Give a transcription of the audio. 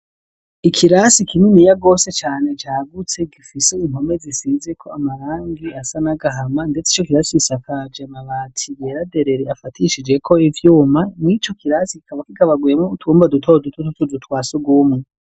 ikirasi kininiya gose cane cagutse gifise impome zisizeko amarangi asa n'agahama ndetse ico kirasi gisakaj 'amabati yera derere afatishijeko ivyuma n'ico kirasi kikaba kigabaguyemwo utwumba duto duto tw'utuzu twa sugwumwe.